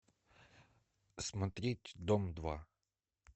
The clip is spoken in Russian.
смотреть дом два